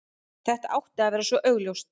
Þetta átti að vera svo augljóst.